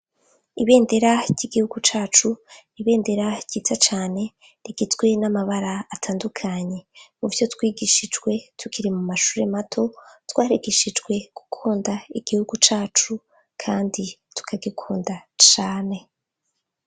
Ibendera ry'igihugu cacu ibendera ryiza cane rigizwe n'amabara atandukanye. Muvyo twigishijwe tukiri mumashure mato twarigishijwe gukunda igihugu cacu kandi tukagikunda cane.